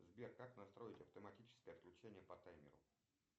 сбер как настроить автоматическое отключение по таймеру